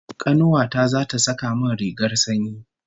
Kanuwa ta zata saka min rigar sanyi